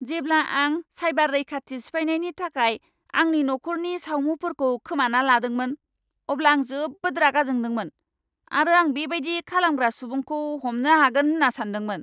जेब्ला आं चाइबार रैखाथि सिफायनायनि थाखाय आंनि नख'रनि सावमुफोरखौ खोमाना लादोंमोन, अब्ला आं जोबोद रागा जोंदोंमोन आरो आं बेबायदि खालामग्रा सुबुंखौ हमनो हागोन होन्ना सानदोंमोन।